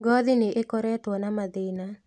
Ngothi nĩ ĩkoretwo na mathĩna